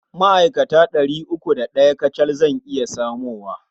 Ma'akata ɗari uku da ɗaya kacal zan iya samowa.